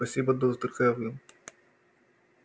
спасибо доктор кэлвин